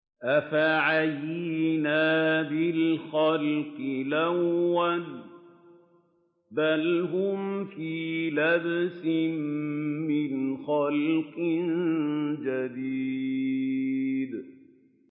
أَفَعَيِينَا بِالْخَلْقِ الْأَوَّلِ ۚ بَلْ هُمْ فِي لَبْسٍ مِّنْ خَلْقٍ جَدِيدٍ